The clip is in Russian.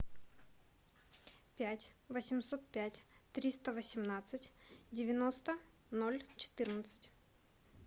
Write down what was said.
пять восемьсот пять триста восемнадцать девяносто ноль четырнадцать